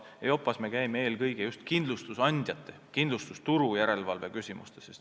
EIOPA-s me käime eelkõige just kindlustusandjate, kindlustusturu järelevalve küsimusi arutamas.